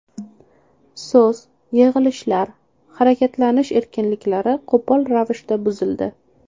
So‘z, yig‘ilishlar, harakatlanish erkinliklari qo‘pol ravishda buzildi.